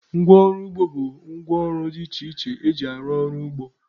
Ngwa ọrụ ugbo bụ ngwa ọrụ dị iche iche eji arụ ọrụ n'ugbo.